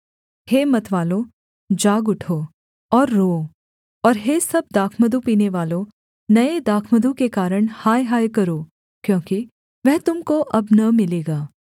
हे मतवालों जाग उठो और रोओ और हे सब दाखमधु पीनेवालों नये दाखमधु के कारण हाय हाय करो क्योंकि वह तुम को अब न मिलेगा